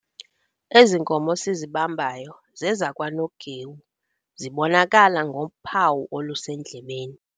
Ezi nkomo sizibambayo zezakwaNogewu, zibonakala ngophawu olusendlebeni.